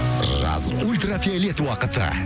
жаз ультрафиолет уақыты